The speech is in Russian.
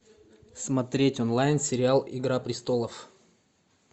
смотреть онлайн сериал игра престолов